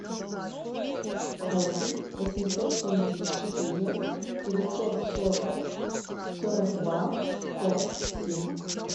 восемь восемьсот семьдесят четыре девятьсот сорок сорок два пять семь